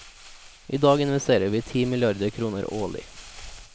I dag investerer vi ti milliarder kroner årlig.